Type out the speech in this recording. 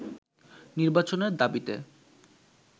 নির্বাচনের দাবিতে